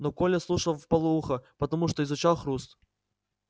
но коля слушал вполуха потому что изучал хруст